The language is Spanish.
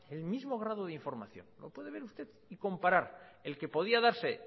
el mismo grado de información lo puede ver usted y comparar el que podía darse